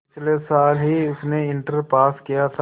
पिछले साल ही उसने इंटर पास किया था